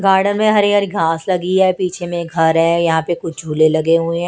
Garden में हरी हरी घास लगी है पीछे में एक घर है यहां पे कुछ झूले लगे हुए हैं।